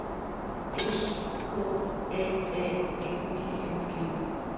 S K A A N I N G